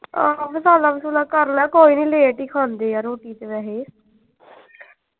ਆਹੋ ਮਸਾਲਾ ਮਸੂਲਾ ਕਰ ਲਿਆ ਕੋਈ ਨਹੀਂ late ਈ ਖਾਂਦੇ ਆ ਰੋਟੀ ਤੇ ਵੈਹੇ।